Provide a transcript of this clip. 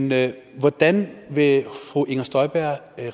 men hvordan vil fru inger støjberg